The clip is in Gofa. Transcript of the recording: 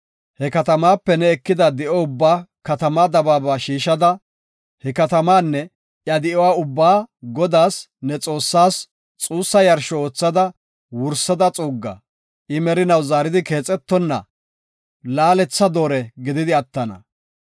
He katamaape ne ekida di7o ubbaa katamaa dabaaba shiishada, he katamaanne iya di7uwa ubbaa Godaas, ne Xoossaas, xuussa yarsho oothada wursada xuugga. I merinaw zaaridi keexetonna laaletha doore gididi attana.